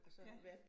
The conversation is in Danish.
Ja